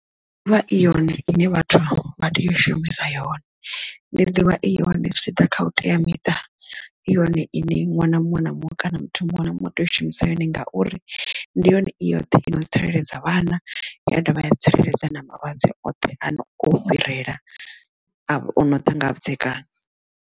Ndi ḓivha i yone ine vhathu vha tea u shumisa yone ndi ḓivha i yone zwi tshi ḓa kha u teamiṱa i yone iṋe ṅwana muṅwe na muṅwe kana muthu muṅwe na muṅwe u tea u shumisa sa yone ngauri ndi yone i yoṱhe i no tsireledza vhana ya dovha ya tsireledza na malwadze oṱhe ane o fhirela avha o no ḓa nga vhudzekani.